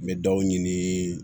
N bɛ dɔw ɲini